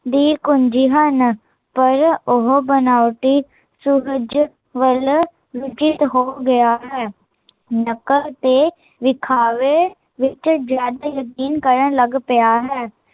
ਦੀ ਕੁੰਜੀ ਹਨ ਪਰ ਉਹ ਬਨਾਉਟੀ, ਸੁਕਜ ਵੱਲ ਰੁਚਿਤ ਹੋ ਗਿਆ ਹੈ ਨਕਲ ਤੇ ਵਿਖਾਵੇ, ਵਿੱਚ ਜਿਆਦਾ ਯਕੀਨ ਕਰਨ ਲੱਗ ਪਿਆ ਹੈ